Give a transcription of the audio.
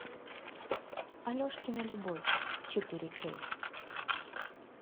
алешкина любовь четыре кей